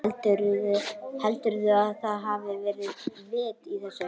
Heldurðu að það hafi verið vit í þessu?